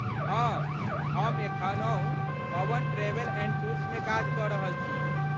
हँ, हम एखनहु पवन ट्रैवेल एंड टूर्समे काज कऽ रहल छी।